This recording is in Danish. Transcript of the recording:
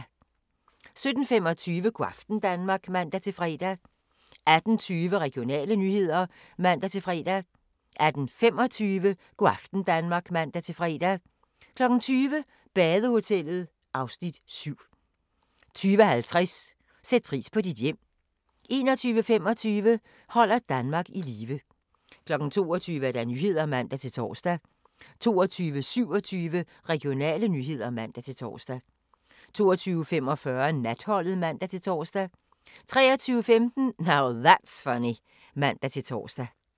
17:25: Go' aften Danmark (man-fre) 18:20: Regionale nyheder (man-fre) 18:25: Go' aften Danmark (man-fre) 20:00: Badehotellet (Afs. 7) 20:50: Sæt pris på dit hjem 21:25: Holder Danmark i live 22:00: Nyhederne (man-tor) 22:27: Regionale nyheder (man-tor) 22:45: Natholdet (man-tor) 23:15: Now That's Funny (man-tor)